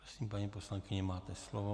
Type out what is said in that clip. Prosím, paní poslankyně, máte slovo.